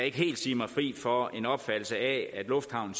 ikke helt sige mig fri for en opfattelse af at lufthavnen